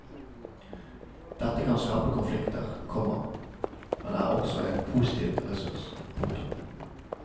Dette kan skape konflikter, komma men er også en positiv ressurs. punktum